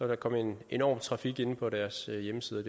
der komme en enorm trafik inde på deres hjemmeside